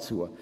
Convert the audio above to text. zu.